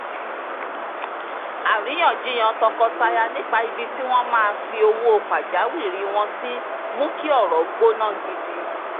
àríyànjiyàn tọkọtaya nípa ibi tí wọ́n máa fi owó pajawiri wọn sí mú kí ọ̀rọ̀ gbóná gidi